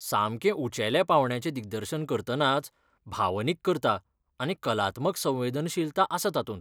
सामकें उंचेल्या पावंड्याचें दिग्दर्शन करतनाच भावनीक करता आनी कलात्मक संवेदनशीलता आसा तातूंत.